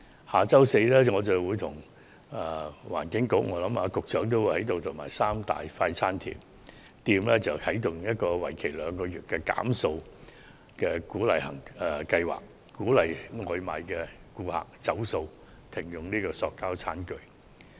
下周四我將聯同環境局，相信也包括局長，與三大快餐店一起啟動一個為期兩個月的減塑計劃，鼓勵外賣顧客"走塑"，停用塑膠餐具。